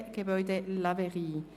«Bellelay, Gebäude ‹Laverie›».